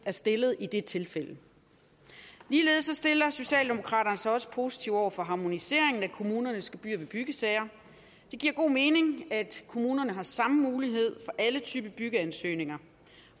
er stillet i det tilfælde ligeledes stiller socialdemokraterne sig også positivt over for harmoniseringen af kommunernes gebyrer ved byggesager det giver god mening at kommunerne har samme mulighed for alle typer byggeansøgninger